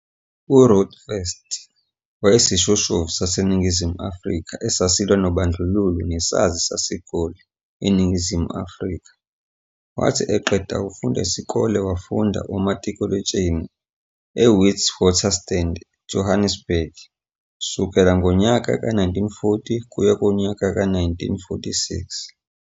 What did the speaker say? URuth First wayeyisishoshovu saseNingizimu Afrika esasilwa nobandlululo nesazi saseGoli, eNingizimu Afrika. Wathi eqeda ukufunda esikoleni wafunda umatikuletsheni eWitwaterstand Johannesburg, sukela ngonyaka 1940 ukuya kunyaka 1946.